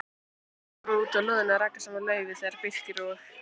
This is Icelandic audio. Ragnar var úti á lóðinni að raka saman laufi þegar Birkir og